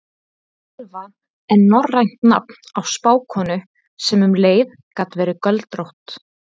Völva er norrænt nafn á spákonu sem um leið gat verið göldrótt.